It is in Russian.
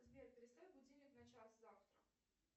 сбер переставь будильник на час завтра